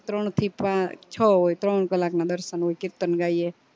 ત્રણ થી પાચ છ હોય ત્રણ કલાક ના દર્શન હોય કીર્તન ગાઈયે